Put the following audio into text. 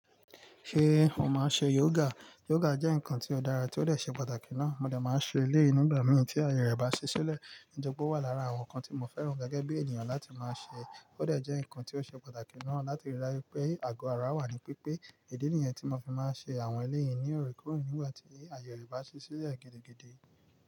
Ṣé o máa ṣe yoga? Yoga jẹ́ nǹkan tí ó dára tí ó dè ṣe pàtàkì náa. Mo dẹ̀ máa ṣe eléyìí nígbà mìí tí àye rẹ̀ bá ṣi ṣilẹ̀. Ǹitori pé ó wà lára àwọn nǹkan tí mo fẹ́ràn gẹ́gẹ́ bí ènìyàn láti máa ṣe. Ó dè jẹ́ nǹkan tí ó ṣe pàtàkì náà láti rí i dáru pé àgọ ara wà ní pípé. Ìdí nìyẹn tí mo fi máa ń ṣe àwọn eléyìí ní òorèkóòrè nígbà tí àye rẹ̀ bá ṣi ṣilẹ́ gidi gidi.